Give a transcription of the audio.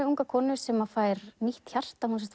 unga konu sem fær nýtt hjarta hún